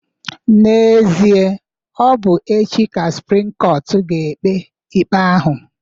N'ezie, ọ bụ echi ka suprim kọtụ ga-ekpe ikpe ahụ.